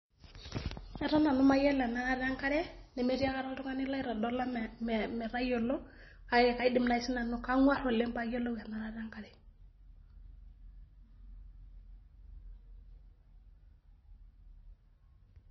Eton nanu mayiolo enarata enakre nemetii ae kata oltungani laitodola metayiolo kake kaidim nai sinanu , kangwar nai oleng payiolou enarata enkare.